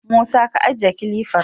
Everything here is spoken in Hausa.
Musa, ka ajiye kilifar!